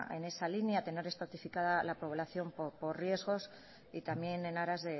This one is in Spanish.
en esa línea tener estratificada la población por riesgos y también en aras